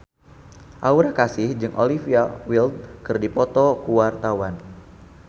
Aura Kasih jeung Olivia Wilde keur dipoto ku wartawan